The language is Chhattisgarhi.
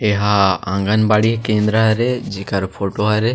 एहा आँगन बड़ी केंद्र हरे जेकर फोटो हरे --